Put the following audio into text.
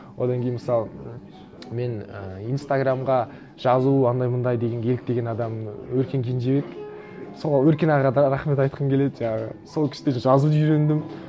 одан кейін мысалы мен і инстаграмға жазу андай мындай дегенге еліктеген адамым өркен кенжебек сол өркен ағаға да рахмет айтқым келеді жаңағы сол кісіден жазуды үйрендім